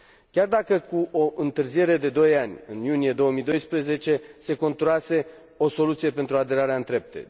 Chiar dacă cu o întârziere de doi ani, în iunie 2012 se conturase o soluție pentru aderarea în trepte.